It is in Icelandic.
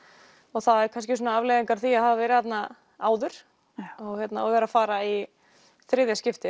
það eru kannski afleiðingar af því að hafa verið þarna áður og vera að fara í þriðja skiptið